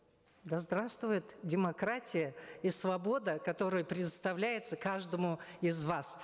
да здравствует демократия и свобода которая предоставляется каждому из вас